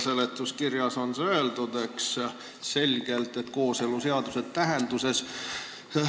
Seletuskirjas on selgelt öeldud, et kooseluseaduse tähenduses.